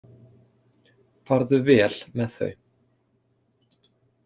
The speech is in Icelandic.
Farðu vel með þau.